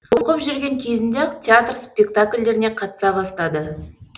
оқып жүрген кезінде ақ театр спектакльдеріне қатыса бастады